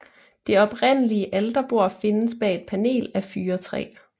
Det oprindelige alterbord findes bag et panel af fyrretræ